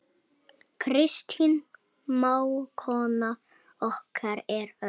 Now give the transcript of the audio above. Kristín mágkona okkar er öll.